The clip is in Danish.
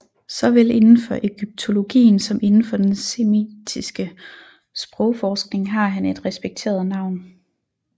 Såvel inden for egyptologien som inden for den semitiske sprogforskning har han et respekteret navn